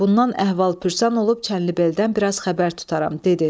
Bundan əhval-pürsan olub, Çənlibeldən biraz xəbər tutaram, dedi.